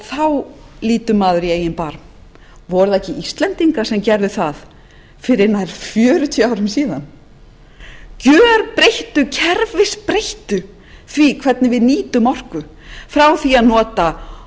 þá lítur maður í eigin barm voru það ekki íslendingar sem gerðu það fyrir nær fjörutíu árum síðan gjörbreyttu kerfisbreyttu því hvernig við nýtum orku frá því að nota